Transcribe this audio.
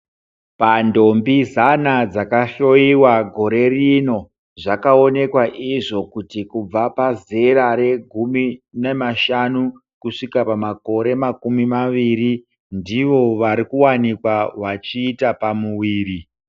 Pantombi zana dzakahloyiwa gore rino zvakaonekwa izvo kuti kubva pazera regumi nemashanu kusvika pamakore makumi maviri ndivo vari kuwanikwa vachiita pamuwiri.